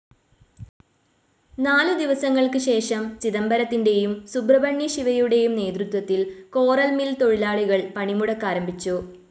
നാലു ദിവസങ്ങൾക്കു ശേഷം, ചിദംബരത്തിന്റേയും, സുബ്രഹ്മണ്യ ശിവയുടേയും നേതൃത്വത്തിൽ കോറൽ മിൽ തൊഴിലാളികൾ പണി മുടക്കാരംഭിച്ചു.